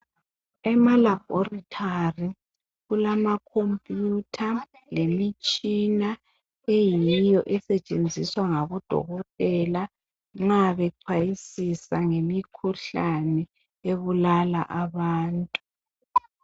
Emalaborithali kulamacomputer lemitshina eyiyo esetshenziswa ngabodokotela nxa bexhayisisa ngemikhuhlane ebulala abantu.